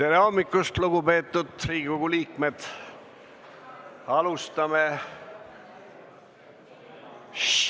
Tere hommikust, lugupeetud Riigikogu liikmed!